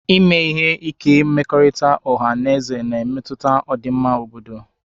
Ime ihe ike mmekọrịta ọha na eze na-emetụta ọdịmma obodo